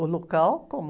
O local, como?